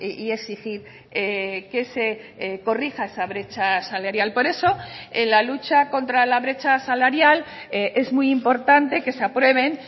y exigir que se corrija esa brecha salarial por eso en la lucha contra la brecha salarial es muy importante que se aprueben